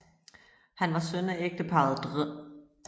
Han var søn af ægteparret dr